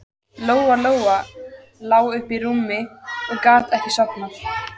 Lóa-Lóa lá uppi í rúmi og gat ekki sofnað.